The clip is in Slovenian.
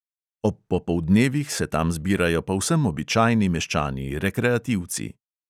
Ob popoldnevih se tam zbirajo povsem običajni meščani, rekreativci.